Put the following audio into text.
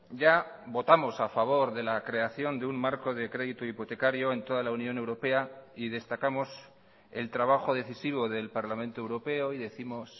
ya votamos a favor de la creación de un marco de crédito hipotecario en toda la unión europea y destacamos el trabajo decisivo del parlamento europeo y décimos